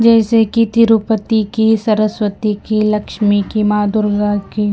जैसे कि तिरुपति की सरस्वती की लक्ष्मी की माँ दुर्गा की--